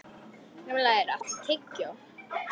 Grímlaugur, áttu tyggjó?